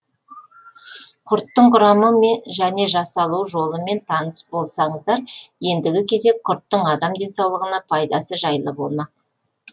құрттың құрамы және жасалу жолымен таныс болсаңыздар ендігі кезек құрттың адам денсаулығына пайдасы жайлы болмақ